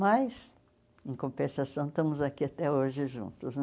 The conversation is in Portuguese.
Mas, em compensação, estamos aqui até hoje juntos, né?